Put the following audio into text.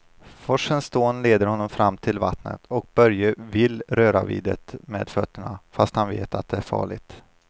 Forsens dån leder honom fram till vattnet och Börje vill röra vid det med fötterna, fast han vet att det är farligt.